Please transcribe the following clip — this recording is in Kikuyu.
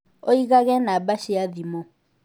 ũigage namba cia thimũ